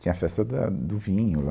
Tinha a festa da, do vinho lá.